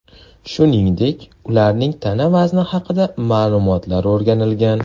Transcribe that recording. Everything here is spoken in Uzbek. Shuningdek, ularning tana vazni haqidagi ma’lumotlar o‘rganilgan.